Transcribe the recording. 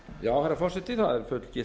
herra forseti það er